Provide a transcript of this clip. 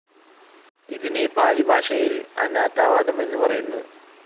ഇതിന് പാലിഭാഷയിൽ അനാത്താവാദം എന്നു പറയുന്നു.